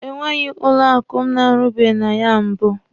E nwebeghi banki m na-arụbeghị na ya mbụ.